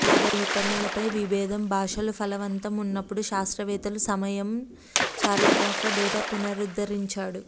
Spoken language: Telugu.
ఆరోపణలపై విభేదం భాషలు ఫలవంతం ఉన్నప్పుడు శాస్త్రవేత్తలు సమయం చారిత్రాత్మక డేటా పునరుద్ధరించాడు